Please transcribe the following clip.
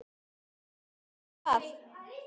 veit ég það?